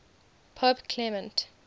pope clement